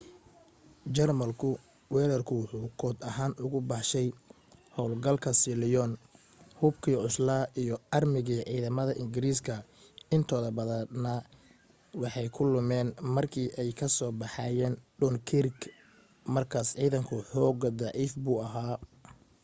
jarmalku weerarku wuxu kood ahaan ugu baxshay hawlgalka sealion". hubkii cuslaa iyo aarmigii ciidamada ingiriiska intooda badani waxay ku lumeen markii ay ka soo baxayeen dunkirk markaas ciidanku xoogaa daciif buu ahaa